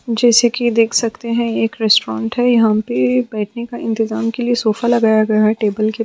जैसे कि देख सकते हैं एक रेस्टोरेंट है यहाँ पे बैठने का इंतजाम के लिए सोफा लगाया गया है टेबल के --